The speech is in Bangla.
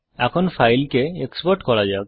এখন ফাইলকে এক্সপোর্ট করা যাক